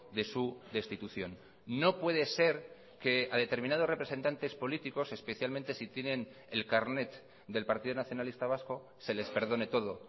de su destitución no puede ser que a determinados representantes políticos especialmente si tienen el carnet del partido nacionalista vasco se les perdone todo